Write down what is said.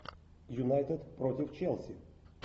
юнайтед против челси